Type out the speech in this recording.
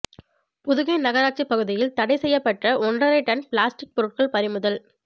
புதுகை நகராட்சி பகுதியில் தடை செய்யப்பட்ட ஓன்றரை டன் பிளாஸ்டிக் ெபாருட்கள் பறிமுதல்